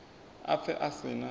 a pfe a si na